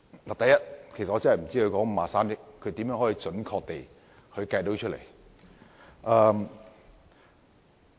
我不知道53億元是如何準確地計算出來。